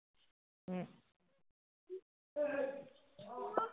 উম